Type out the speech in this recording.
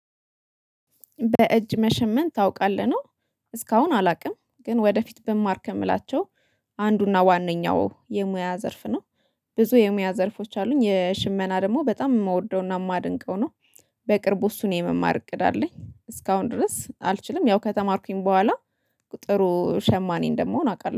በእጅ መሸመን ታውቃለህ ነው። እስካሁን አላቅም ግን ወደፊት ብማር ከምላቸው አንዱና ዋነኛው የሙያ ዘርፍ ነው። ብዙ የሙያ ዘርፎች አሉኝ የሽመና ደግሞ በጣም የምወደውና የማደንቀው ነው። በቅርቡ እሱን የመማር እቅድ አለኝ እስካሁን ድረስ አልችልም ያው ከተማርኩኝ በኋላ። ጥሩ ሸማኔ እንደመሆን አቃለሁ